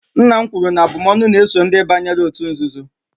nna m kwuru na abụm'ọnụ na-eso ndị banyere òtù nzuzo